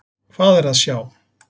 Hvað er að sjá!